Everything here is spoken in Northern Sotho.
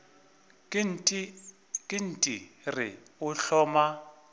ke nt re o hloma